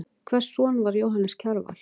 Hvers son var Jóhannes Kjarval?